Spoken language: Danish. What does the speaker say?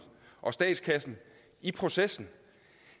og statskassen i processen